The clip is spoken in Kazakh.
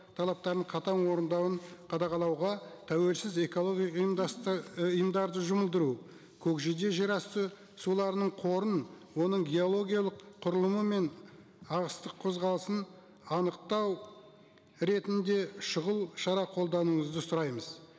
талаптарын қатаң орындауын қадағалауға тәуелсіз экология ұйымдарды жұмылдыру көкжиде жерасты суларының қорын оның геологиялық құрылымы мен ағыстық қозғалысын анықтау ретінде шұғыл шара қолдануыңызы сұраймыз